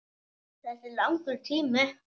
Þetta er langur tími.